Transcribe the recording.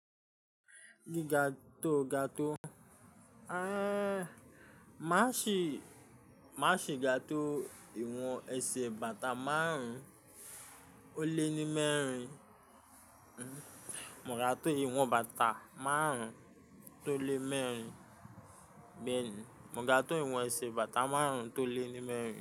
Gíga tó ga tó. Má ṣì, má ṣì ga tó ìwọ̀n ẹsẹ̀ bàtà márùn ó lé ní mẹ́rin. Mò ga tó ìwọ̀n bàtà márùn tó lé mẹ́rin. Bẹ́ẹ̀ni, mọ ga tó ìwọ̀n ẹsẹ̀ bàtà márùn tó lé ní mẹ́rin.